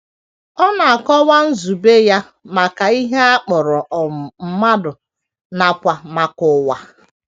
Ọ na - akọwa nzube ya maka ihe a kpọrọ um mmadụ nakwa maka ụwa.